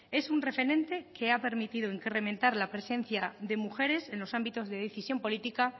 es un referente que ha permitido incrementar la presencia de mujeres en los ámbitos de decisión política